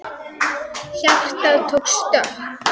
Hjartað tók stökk!